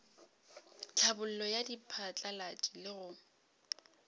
tlhabollo ya diphatlalatši le go